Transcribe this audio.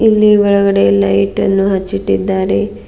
ಎಲ್ಲಿ ಒಳಗಡೆ ಲೈಟ್ ಅನ್ನು ಹಚ್ಚಿ ಇಟ್ಟಿದ್ದಾರೆ.